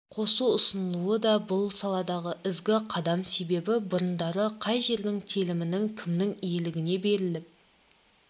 қосу ұсынылуы да бұл саладағы ізгі қадам себебі бұрындары қай жердің телімінің кімнің иелігіне беріліп